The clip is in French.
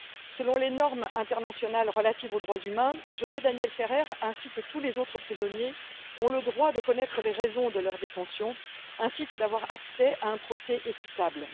Selon les normes internationales relatives aux droits humains, José Daniel Ferrer ainsi que tous les autres prisonniers ont le droit de connaître les raisons de leur détention et d'avoir accès à un procès équitable.